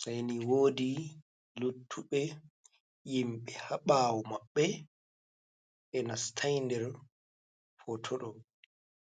sei ni woodi luttuɓe yimɓe ha ɓawo maɓɓe, ɓe nastai nder foto ɗo.